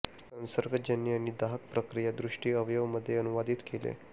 संसर्गजन्य आणि दाहक प्रक्रिया दृष्टी अवयव मध्ये अनुवादित केले